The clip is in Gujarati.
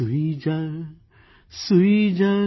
સૂઇ જા સૂઇ જા